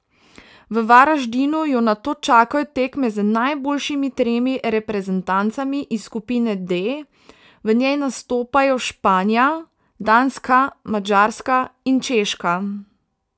V Varaždinu jo nato čakajo tekme z najboljšimi tremi reprezentancami iz skupine D, v njej nastopajo Španija, Danska, Madžarska in Češka.